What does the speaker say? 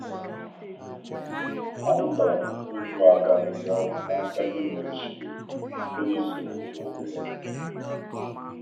Amụtara m otu adọ ahịhịa ọgwụ n'aka nne m ochie site na-isoro nzọ ụkwụ ya